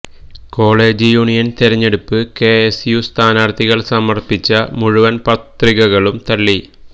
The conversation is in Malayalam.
കോളേജ് യൂണിയന് തെരഞ്ഞെടുപ്പിന് കെ എസ് യു സ്ഥാനാര്ത്ഥികള് സമര്പ്പിച്ച മുഴുവന് പത്രികകളും തള്ളി